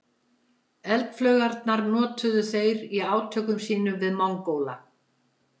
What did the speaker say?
Eldflaugarnar notuðu þeir í átökum sínum við Mongóla.